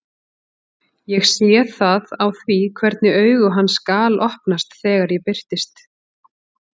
Ég sé það á því hvernig augu hans galopnast þegar ég birtist.